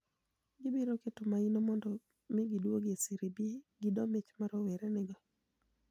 Gibiro keto maino mondo mi oduogi e Serie B gi doo mich ma rowere nigo.